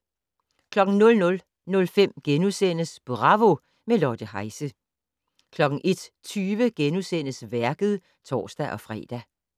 00:05: Bravo - med Lotte Heise * 01:20: Værket *(tor-fre)